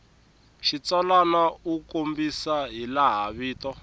xitsalwana u kombisa hilaha vito